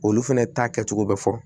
Olu fɛnɛ ta kɛcogo bɛ fɔ